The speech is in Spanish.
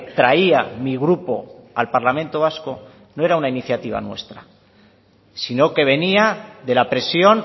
traía mi grupo al parlamento vasco no era una iniciativa nuestra sino que venía de la presión